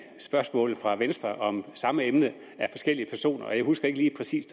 spørgsmål fra venstre om samme emne af forskellige personer jeg husker ikke lige præcis